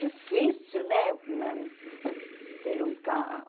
difícil, né, nós ter um carro.